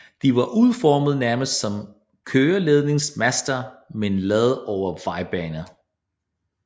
De var udformet nærmest som køreledningsmaster med en lader over vejbaner